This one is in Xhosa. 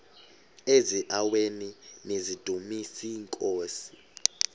eziaweni nizidumis iinkosi